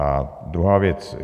A druhá věc.